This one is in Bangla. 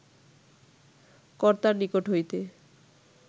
কর্তার নিকট হইতে